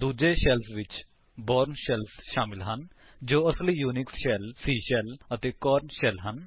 ਦੂੱਜੇ ਸ਼ੈਲਸ ਵਿਚ Bourne shell ਸ਼ਾਮਿਲ ਹਨ ਜੋ ਕਿ ਅਸਲੀ ਯੂਨਿਕਸ ਸ਼ੈਲ C ਸ਼ੈਲ ਅਤੇ ਕੋਰਨ ਸ਼ੈਲ ਹਨ